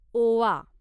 ओवा